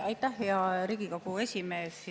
Aitäh, hea Riigikogu esimees!